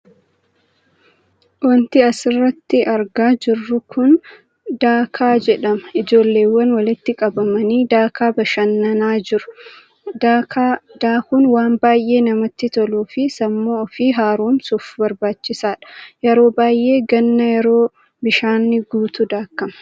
wanti asirratti argaa jirru kun daakaa jedhama. Ijoolleewwan walitti qabamanii daakaa bashannanaa jiru. daakaa daakuun waan baay'ee namatti toluu fi sammuu ofii haaromsuuf barbaachisaadha. yeroo baay'ee ganna yeroo bishaanni guutu daakama.